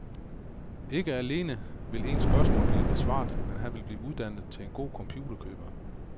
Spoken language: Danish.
Ikke alene vil ens spørgsmål blive besvaret, men man vil blive uddannet til en god computerkøber.